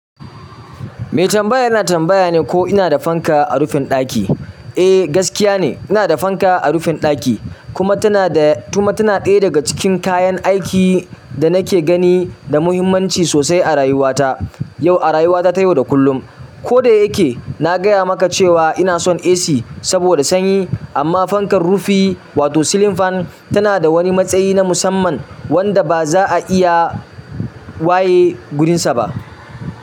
Me tambaya yana tambaya ne ko ina da fanka a rufin ɗaki. Eh, gaskiya ne, ina da fanka a rufin ɗaki kuma tana da, kuma tana ɗaya daga cikin kayan aiki da nake gani da muhimmanci sosai a rayuwata, yau a rayuwata ta yau da kullum. Ko da yake na gaya maka cewa ina son AC saboda sanyi amma fankar rufi wato ceiling fan tana da wani matsayi na musamman wanda ba za a iya waye gudunsa ba.